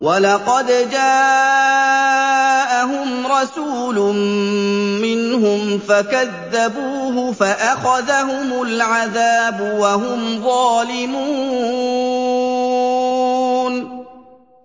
وَلَقَدْ جَاءَهُمْ رَسُولٌ مِّنْهُمْ فَكَذَّبُوهُ فَأَخَذَهُمُ الْعَذَابُ وَهُمْ ظَالِمُونَ